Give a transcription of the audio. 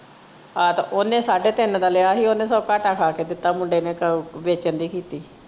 ਆਹ ਤੇ ਓਹਨੇ ਸਾਢੇ ਤਿੰਨ ਦਾ ਲਿਆ ਹੀ ਓਹਨੇ ਸਗੋਂ ਘਾਟਾ ਖਾ ਕੇ ਦਿੱਤਾ ਮੁੰਡੇ ਨੇ ਵੇਚਣ ਦੀ ਕੀਤੀ।